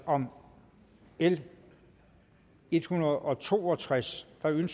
om l ethundrede og toogtredsende